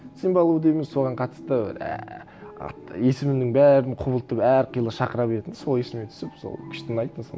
симба лу дейміз соған қатысты әәә есімнің барын құбылтып әрқилы шақыра беретін сол есіме түсіп сол күшті ұнайтын сол